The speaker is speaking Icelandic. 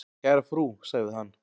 """Kæra frú, sagði hann."""